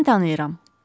Mən tanıyıram.